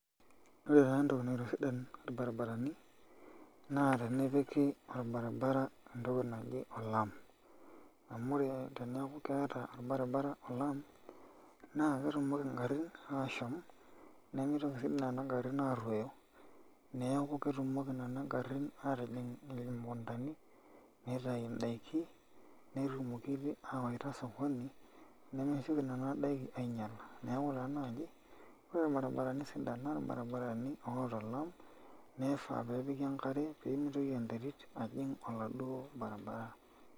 Ore taa entoki naitosidan irbaribarani naa tenepiki orbaribara entoki naji olaam amu teneeku ekeeta orbaribara olaam naa ketumoki ingarrin aashom nemitoki nena garrin aaruoyo, neeku ketumoki nena garrin aatijing' irmukundani nitayu ndaiki netumoki aawaita osokoni nemsioki nena daikin ainyiala neeku taa naaji ore irbaribarani sidan naa irbaribarani oota olaam nifaa pee epiki enkare pee mitoki enterit ajing' oladuo barabara.